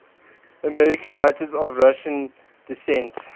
american writers of russian descent